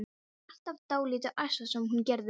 Hún var alltaf dálítið ærslasöm, hún Gerður.